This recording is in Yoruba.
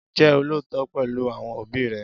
Jẹ́ olóòótọ́ pẹ̀lú àwọn òbí rẹ